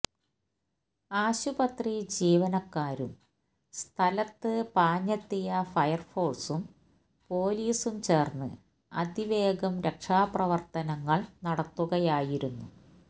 ആശുപത്രി ജീവനക്കാരും സ്ഥലത്ത് പാഞ്ഞെത്തിയ ഫയർ ഫോഴ്സും പോലീസും ചേർന്ന് അതിവേഗം രക്ഷാപ്രവർത്തനങ്ങൾ നടത്തുകയായിരുന്നു